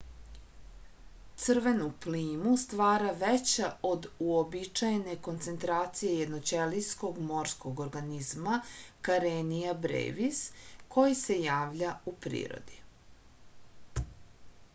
crvenu plimu stvara veća od uobičajene koncentracije jednoćelijskog morskog organizma karenia brevis koji se javlja u prirodi